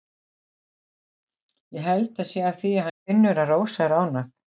Ég held það sé af því að hann finnur að Rósa er ánægð.